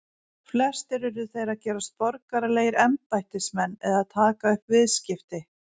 Flestir urðu þeir að gerast borgaralegir embættismenn eða taka upp viðskipti.